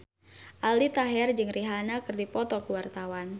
Aldi Taher jeung Rihanna keur dipoto ku wartawan